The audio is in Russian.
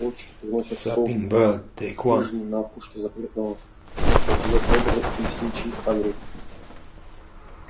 почту приносят совы а в хижине на опушке запретного леса живёт добрый лесничий хагрид